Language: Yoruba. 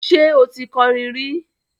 Ṣé o ti kọrin rí?